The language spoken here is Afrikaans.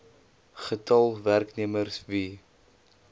getal werknemers wie